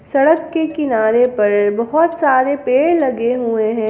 सड़क के किनारे पर बहोत सारे पेड़ लगे हुए हैं।